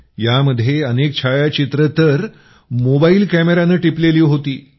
यामध्ये अनेक छायाचित्रे तर मोबाइल कॅमेयानं टिपलेली होती